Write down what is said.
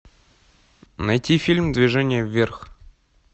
найти фильм движение вверх